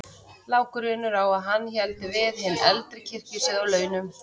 Lá grunur á að hann héldi við hinn eldri kirkjusið á laun.